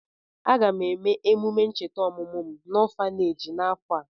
Aga m eme emume ncheta ọmụmụ m n'ọfaneeji n'afọ a.